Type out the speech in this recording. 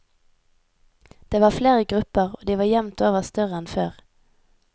Det var flere grupper, og de var jevnt over større enn før.